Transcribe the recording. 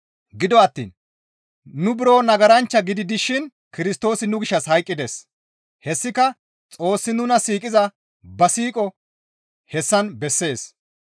Gido attiin nu buro nagaranchcha gidi dishin Kirstoosi nu gishshas hayqqides; hessika Xoossi nuna siiqiza ba siiqo hessan bessees.